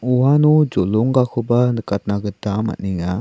uano jolonggakoba nikatna gita man·enga.